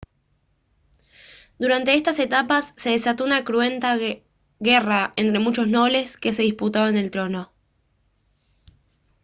durante estas etapas se desató una cruenta guerra entre muchos nobles que se disputaban el trono